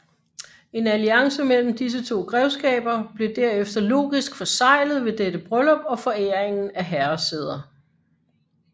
En alliance mellem disse to grevskaber blev derefter logisk forseglet ved dette bryllup og foræringen af herresæder